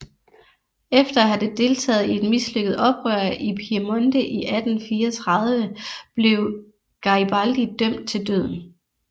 Efter at have deltaget i et mislykket oprør i Piemonte i 1834 blev Garibaldi dømt til døden